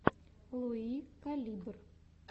луи калибр